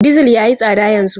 Dizir ya yi tsada yanzu.